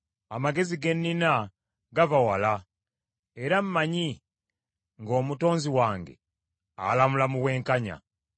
Amagezi ge nnina gava wala, era mmanyi nga Omutonzi wange alamula mu bwenkanya.